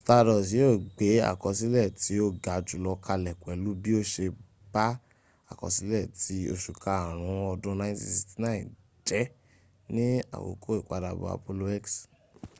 stardust yíò gbé àkọsílẹ̀ tí ó ga jùlọ kalẹ̀ pẹ̀lú bí ó se ba àkọ́sílẹ̀ ti oṣù karùn ún ọdún 1969 jẹ́ ní àkókò ìpadàbọ̀ apollo x